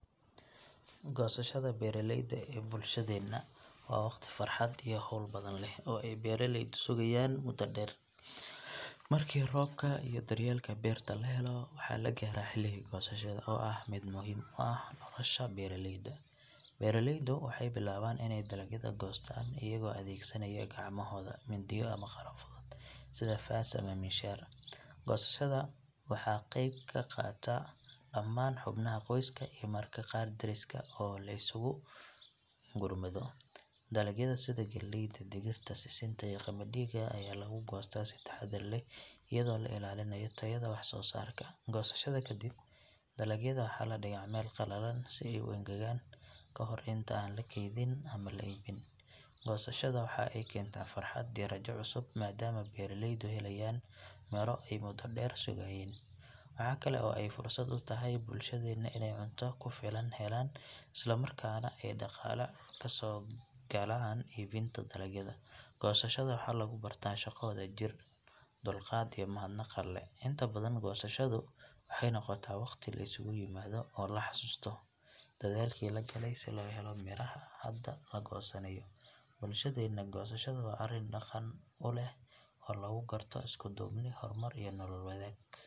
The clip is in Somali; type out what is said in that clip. Gosashada beraleyda ee bulshadhena wa wagti farhat iyo xowl badan leh ay beraleyda sugayan muda deer, marki roobka iyo daryelka berta lahelo, waxa lagara hiigi gosashada o ah mid muxiim u ah xowsha beraleyda, beraleydu waxay bilaban inay dalagyada goystan ayago adegsanayo gacmahoda, mindiya ama qalabo sida faas ama mishaar, gosashada waxa geb kaqataa daman hubnaha qoyska marka qaar dariska oo iskuukurmado, dalagyada sidha geeyda, digirta, sisinta iyo gamadida, aya lagugoysta si tahadar leh, iyado lailalinayo tayada wax sosarka, gosashada kadib dalagyada waxa ladiga meel qalalan si ay uengagan kahorta inta an lakeydin ama laibin, gosashada waxau kenta farhat iyo rajo cusub maadomo ay beraleyda helayan miiro ay muda deer sugayane, waxa kale oo ay fursat utaxay bulshadena in ay cunto kufilan ay helan isla markana ay daqala kasogalan ibinta dalagyada gosashada waxa lagubarta shago wadajir, dulgat iyo mahadnaq , intabadan waxay nogota mid liskulaimado oo laxasusto dadhal lagale si lohelo miraha hada lagosanayo, bulshadena gosashada wa arii daqan uleh oo lagugarto iskudubni hormar iyo nolol wadag.